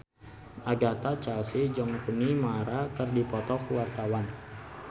Agatha Chelsea jeung Rooney Mara keur dipoto ku wartawan